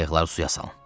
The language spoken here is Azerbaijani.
Qayıqları suya salın.